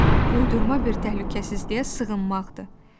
Uydurma bir təhlükəsizliyə sığınmaqdır.